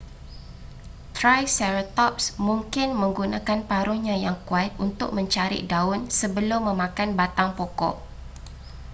triceratops mungkin menggunakan paruhnya yang kuat untuk mencarik daun sebelum memakan batang pokok